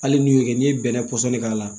Hali n'i y'o kɛ n'i ye bɛnɛ pɔsɔni k'a la